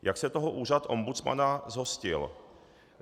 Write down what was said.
Jak se toho úřad ombudsmana zhostil?